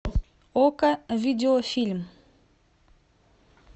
окко видеофильм